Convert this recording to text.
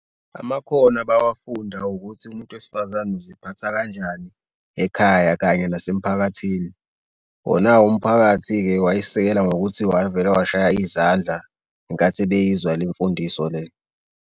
Amakhono abawafunda ukuthi umuntu wesifazane uziphatha kanjani ekhaya kanye nasemphakathini. Wona-ke umphakathi-ke wayesisekela ngokuthi wavele washaya izandla ngenkathi beyizwa lemfundiso le.